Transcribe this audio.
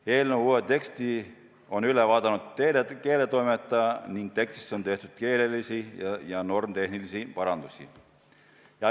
Eelnõu uue teksti on üle vaadanud keeletoimetaja ning tekstis on keelelisi ja normitehnilisi parandusi.